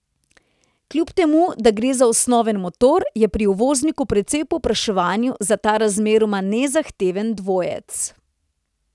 Kljub temu, da gre za osnoven motor, je pri uvozniku precej povpraševanja za ta razmeroma nezahteven dvojec.